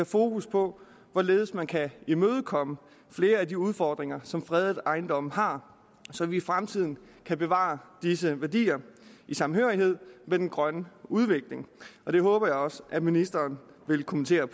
fokus på hvorledes man kan imødekomme flere af de udfordringer som fredede ejendomme har så vi i fremtiden kan bevare disse værdier i samhørighed med den grønne udvikling det håber jeg også at ministeren vil kommentere